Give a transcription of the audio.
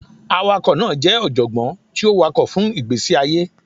Awakọ naa jẹ ọjọgbọn ti o wakọ fun igbesi aye.